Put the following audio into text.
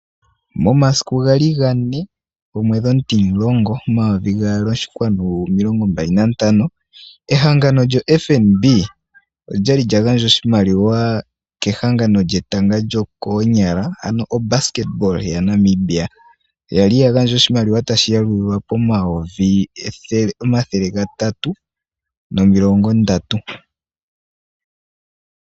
Momasiku gali gane omwedhi omutimulongo omayovi gaali oshinkwanu omilongo mbali nantano, ehangano lyoFNB olyali lyagandja oshimaliwa kehangano lyetanga lyokoonyala lyaNamibia. Yali yagandja oshimaliwa tashi yalulilwa pomayovi omathele gatatu nomilongo ndatu.